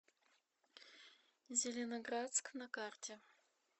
зеленоградск на карте